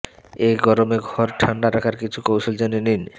এই গরমে ঘর ঠান্ডা রাখার কিছু কৌশল জেনে নিন